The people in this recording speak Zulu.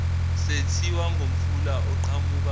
sethiwa ngomfula oqhamuka